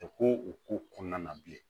ko o ko kɔnɔna na bilen